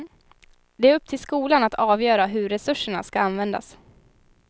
Det är upp till skolan att avgöra hur resurserna ska användas.